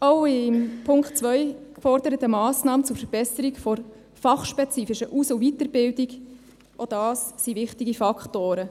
Alle in Punkt 2 geforderten Massnahmen zur Verbesserung der fachspezifischen Aus- und Weiterbildung, auch das sind wichtige Faktoren.